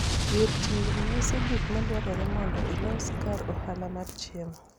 gir tigni nyiso gik madwarore mondo ilos kar ohala mar chiemo